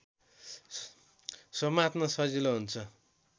समात्न सजिलो हुन्छ